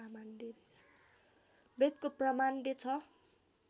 वेदको प्रामाण्य छ